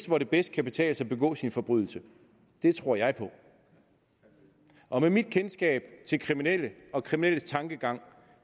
hvor det bedst kan betale sig at begå sin forbrydelse det tror jeg og med mit kendskab til kriminelle og kriminelles tankegang